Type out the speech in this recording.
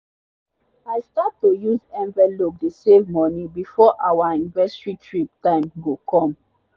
i start to use envelope dey save money before our anniversary trip time go come